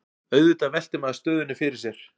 Auðvitað veltir maður stöðunni fyrir sér